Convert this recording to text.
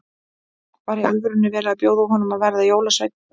Var í alvörunni verið að bjóða honum að verða jólasveinn?